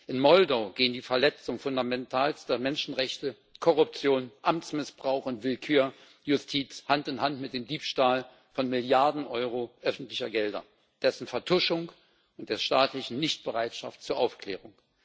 In Moldau gehen die Verletzungen fundamentalster Menschenrechte, Korruption, Amtsmissbrauch und Willkür der Justiz Hand in Hand mit dem Diebstahl von Milliarden Euro öffentlicher Gelder, dessen Vertuschung und der staatlichen Nichtbereitschaft zur Aufklärung.